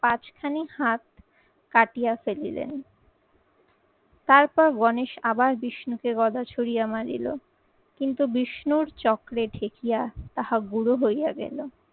পাঁচখানি হাত কাটিয়ে ফেলিলেন। তারপর গণেশ আবার বিষ্ণুকে গদা ছুড়িয়া মারিলো কিন্তু বিষ্ণুর চক্রে ঠেকিয়া তাহা গুড়ো হইয়া গেলো।